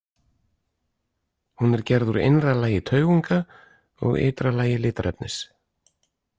Hún er gerð úr innra lagi taugunga og ytra lagi litarefnis.